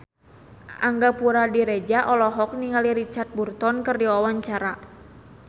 Angga Puradiredja olohok ningali Richard Burton keur diwawancara